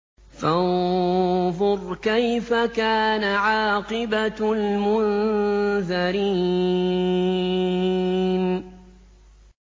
فَانظُرْ كَيْفَ كَانَ عَاقِبَةُ الْمُنذَرِينَ